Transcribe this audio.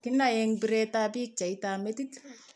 Kinae eng' biretab pichaitab metit.